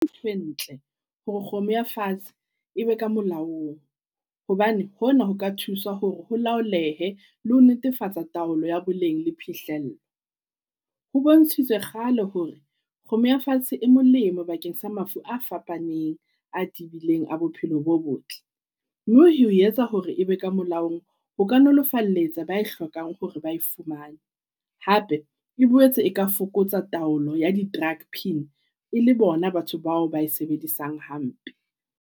Ke ntho e ntle hore kgomo ya fatshe e be ka molaong. Hobane hona ho ka thusa hore ho laolehe le ho netefatsa taolo ya boleng le phihlello. Ho bontshitswe kgale hore kgomo ya fatshe e molemo bakeng sa mafu a fapaneng a tebileng a bophelo bo botle. Mme ho etsa hore e be ka molaong, ho ka nolofaletsa ba e hlokang hore ba e fumane. Hape e boetse e ka fokotsa taolo ya di-drug pin e le bona batho bao ba e sebedisang hampe.